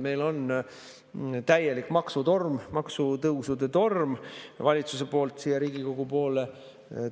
Meil on täielik maksutorm, maksutõusude torm valitsuse poolt siia Riigikogu poole